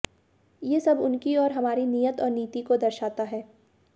ये सब उनकी और हमारी नीयत और नीति को दर्शाता है